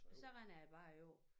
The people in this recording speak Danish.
Så render det bare ud